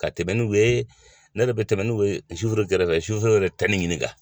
Ka tɛmɛ n'u ye ne yɛrɛ bɛ tɛmɛ n'u ye suforow kɛrɛfɛ suforow yɛrɛ tɛ ni ɲininka.